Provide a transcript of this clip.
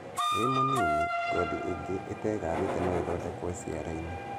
Wĩ mũnini, ngothi ingĩ, itegathĩte noĩthondeke ciara-inĩ